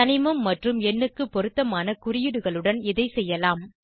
தனிமம் மற்றும் எண்ணுக்கு பொருத்தமான குறியீடுகளுடன் இதை செய்யலாம்